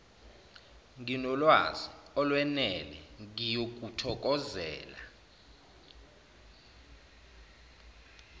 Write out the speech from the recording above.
nginolwazi olwenele ngiyokuthokozela